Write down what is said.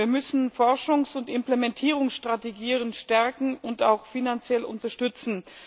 Wir müssen Forschungs und Implementierungsstrategien stärken und auch finanziell unterstützen.